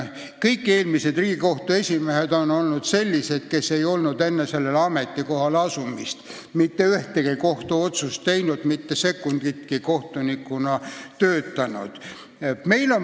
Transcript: Kõik eelmised Riigikohtu esimehed on olnud sellised, kes ei olnud enne sellele ametikohale asumist mitte ühtegi kohtuotsust langetanud, mitte sekunditki kohtunikuna töötanud.